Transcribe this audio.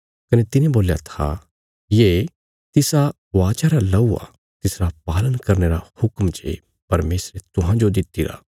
कने तिने बोल्या था ये तिसा वाचा रा लहू आ तिसरा पालन करने रा हुक्म जे परमेशरे तुहांजो दित्तिरा